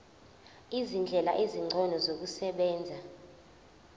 izindlela ezingcono zokusebenza